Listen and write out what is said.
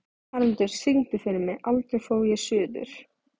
Haraldur, syngdu fyrir mig „Aldrei fór ég suður“.